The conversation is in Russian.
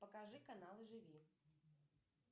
покажи канал живи